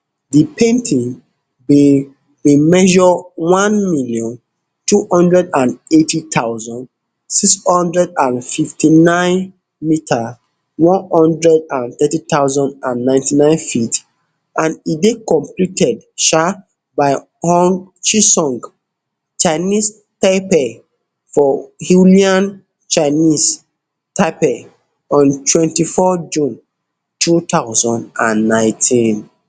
di painting bin bin measure one million, two hundred and eight thousand, six hundred and fifty-nine m one hundred and thirty thousand and ninety-nine ft and e dey completed um by hung chisung chinese taipei for hualien chinese taipei on twenty-one june two thousand and nineteen